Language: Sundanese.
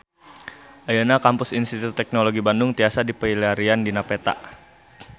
Ayeuna Kampus Institut Teknologi Bandung tiasa dipilarian dina peta